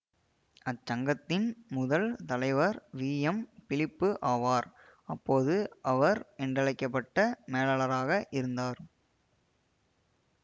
அச்சங்கத்தின் முதல் தலைவர் VM Philip ஆவார் அப்போது அவர் என்றழைக்க பட்ட மேலாளராக இருந்தார்